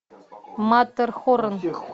маттерхорн